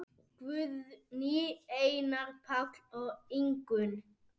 Guðný, Einar, Páll og Ingunn.